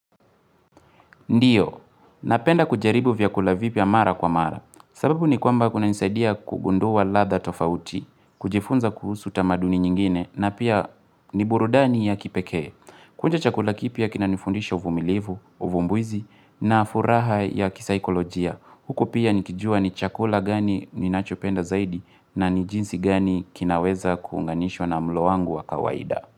Ndiyo, napenda kujaribu vyakula vipya mara kwa mara. Sababu ni kwamba kunanisaidia kugundua ladha tofauti, kujifunza kuhusu tamaduni nyingine, na pia ni burudani ya kipekee. Kuonja chakula kipya kinanifundisha uvumilivu, uvumbuzi, na furaha ya kisaikolojia. Huko pia nikijua ni chakula gani ninachopenda zaidi, na ni jinsi gani kinaweza kuunganishwa na mlo wangu wa kawaida.